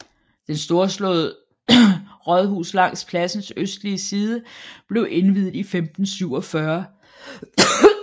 Den storslåede rådhus langs pladsens østlige side blev indviet i 1547